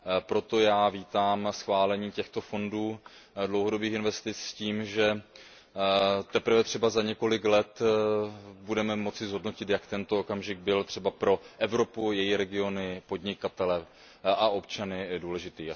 Proto vítám schválení těchto fondů dlouhodobých investic s tím, že teprve za několik let budeme moci zhodnotit, jak tento okamžik byl třeba pro Evropu, její regiony, podnikatele a občany důležitý.